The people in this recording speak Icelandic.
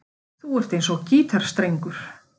Þú ert eins og gítarstrengur.